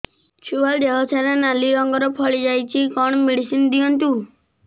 ଛୁଆ ଦେହ ସାରା ନାଲି ରଙ୍ଗର ଫଳି ଯାଇଛି କଣ ମେଡିସିନ ଦିଅନ୍ତୁ